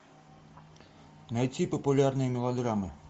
найти популярные мелодрамы